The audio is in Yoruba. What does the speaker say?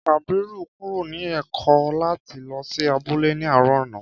Kàbírù kúrò ní èkó láti lò sí abúlé ní àárò àná